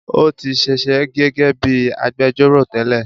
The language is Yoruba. Ó tí sisẹ́ gẹ́gẹ́ bíi agbẹjọ́rọ̀ tẹ́lẹ̀